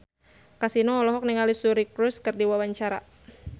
Kasino olohok ningali Suri Cruise keur diwawancara